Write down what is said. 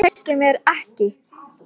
árásir hákarla við strendur ástralíu